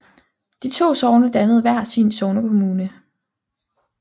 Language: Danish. De to sogne dannede hver sin sognekommune